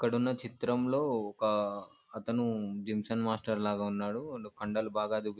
ఇక్కడున్న చిత్రంలో ఒక అతను జిమ్సన్ మాస్టర్ లాగా ఉన్నాడు. కండలు బాగా ]